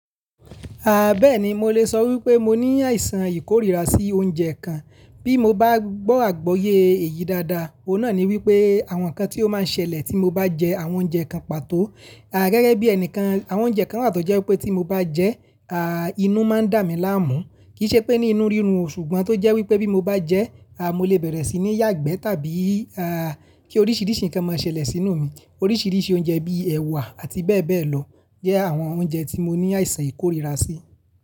Aà, bẹ́ẹ̀ni mo lè sọ wípé mo ní àìsàn ìkóríra sí oúnjẹ kan. Bí mo bá gbọ́ àgbọ́yé èyí dáadáa, òun náà ni wípé àwọn nǹkan tí ó máa ń ṣẹlẹ̀ tí mo bá jẹ àwọn oúnjẹ kan pàtó. Aà, gẹ́gẹ́ bí ẹnìkan, àwọn oúnjẹ kan wa tọ́ jẹ́ wípé tí mo bá jẹ, aà, inú máa ń dà mí láàmú. Kìí ṣe pé ní inú rírun o, ṣùgbọ́n tó jẹ́ wípé bí mo bá jẹ, aà, mo lè bẹ̀rẹ̀ sí ní yàgbẹ́ tàbí, aà, kí oríṣiríṣi nǹkan máa ṣẹlẹ̀ sínú mi. Oríṣiríṣi oúnjẹ bíi ẹ̀wà àti bẹ́ẹ̀ bẹ́ẹ̀ lọ jẹ́ àwọn oúnjẹ tí mo ní àìsàn ìkóríra sí.